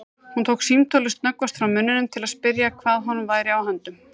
Hún tók símtólið snöggvast frá munninum til að spyrja hvað honum væri á höndum.